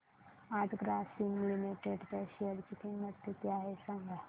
आज ग्रासीम लिमिटेड च्या शेअर ची किंमत किती आहे सांगा